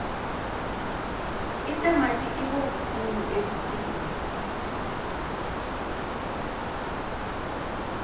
itamati ibovu khulu ebusika